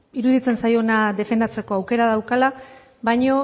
iruditzen zaiona defendatzeko aukera daukala baina